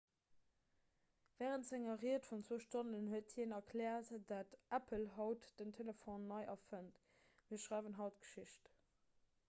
wärend senger ried vun 2 stonnen huet hien erkläert datt apple haut den telefon nei erfënnt mir schreiwen haut geschicht